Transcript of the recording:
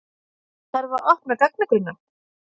Þarf að opna gagnagrunna